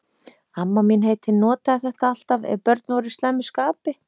Amma mín heitin notaði þetta alltaf ef börn voru í slæmu skapi.